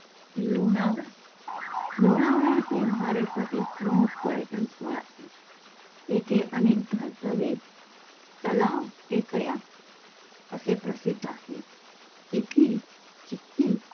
लोणावळा, लोणावळा हे महाराष्ट्रातील प्रमुख पर्यटन स्थळ आहे. येथे अनेक धबधबे, तलाव, टेकड्या असे प्रसिद्ध आहे. इथली चिक्की